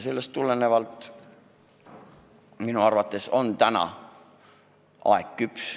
Seetõttu praegu on minu arvates aeg küps.